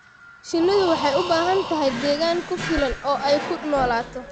Shinnidu waxay u baahan tahay deegaan ku filan oo ay ku noolaato.